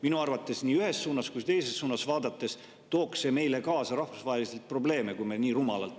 Minu arvates tooks see nii ühes kui ka teises suunas vaadates meile rahvusvaheliselt kaasa probleeme, kui me nii rumalalt …